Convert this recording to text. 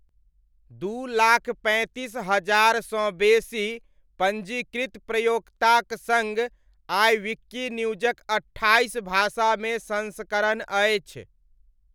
दू लाख पैँतीस हजारसँ बेसी पञ्जीकृत प्रयोक्ताक सङ्ग आइ विकिन्यूजक अट्ठाइस भाषामे संस्करण अछि।